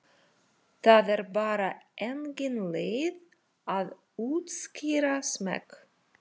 Það er bara engin leið að útskýra smekk.